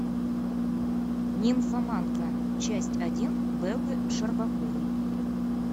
нимфоманка часть один бэлы щербаковой